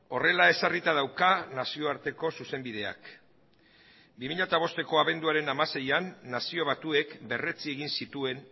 horrela ezarrita dauka nazioarteko zuzenbideak bi mila bosteko abenduaren hamaseian nazio batuek berretsi egin zituen